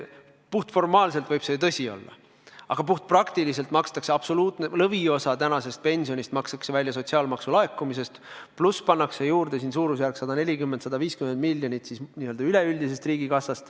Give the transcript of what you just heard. Puhtformaalselt võib see ju tõsi olla, aga puhtpraktiliselt makstakse absoluutne lõviosa pensionist välja sotsiaalmaksu laekumisest, pluss pannakse sinna juurde 140–150 miljonit n-ö üleüldisest riigikassast.